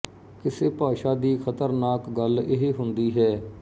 ਕਿਸੇ ਭਾਸ਼ਾ ਦੀ ਖਤਰਨਾਕ ਗੱਲ ਇਹ ਹੁੰਦੀ ਹੈ